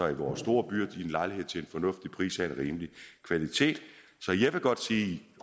i vore store byer i en lejlighed til en fornuftig pris og en rimelig kvalitet så jeg vil godt sige